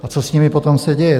A co s nimi potom se děje?